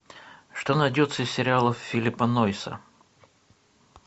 что найдется из сериалов филлипа нойса